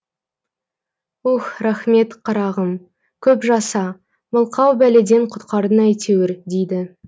ух рахмет қарағым көп жаса мылқау бәледен құтқардың әйтеуір дейді